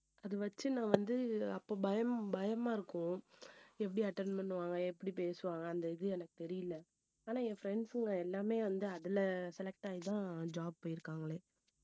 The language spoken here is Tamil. அது வச்சு நான் வந்து அப்ப பயம் பயமா இருக்கும் எப்படி attend பண்ணுவாங்க எப்படி பேசுவாங்க அந்த இது எனக்கு தெரியல ஆனா என் friends ங்க எல்லாமே வந்து அதுல select ஆகிதான் job போயிருக்காங்களே